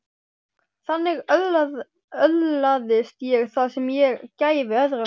Þannig öðlaðist ég það sem ég gæfi öðrum.